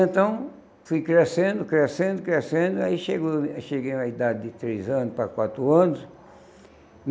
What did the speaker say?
Então fui crescendo, crescendo, crescendo, aí chegou cheguei à idade de três anos para quatro anos.